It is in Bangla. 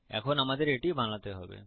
এখন আমাদের এটি বানাতে হবে